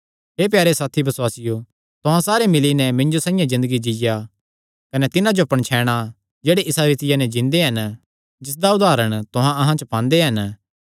हे प्यारे साथी बसुआसियो तुहां सारे मिल्ली नैं मिन्जो साइआं ज़िन्दगी जीआ कने तिन्हां जो पणछैणा जेह्ड़े इसा रीतिया नैं जींदे हन जिसदा उदारण तुहां अहां च पांदे हन